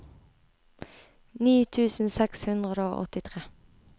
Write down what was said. ni tusen seks hundre og åttitre